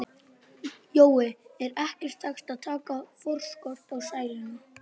Jói, er ekki hægt að taka forskot á sæluna?